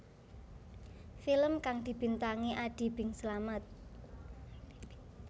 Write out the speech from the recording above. Film kang dibintangi Adi Bing Slamet